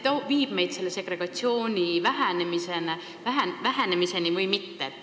Kas see viib meid segregatsiooni vähenemiseni või mitte?